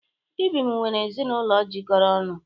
Ibim nwere ezinụlọ jikọrọ ọnụ.